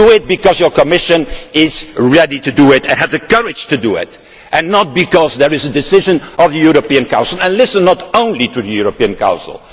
Do it because your Commission is ready to do it, has the courage to do it and not because there is a decision of the European Council. And do not listen only to the European Council.